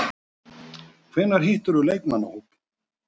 Hvenær hittirðu leikmannahópinn?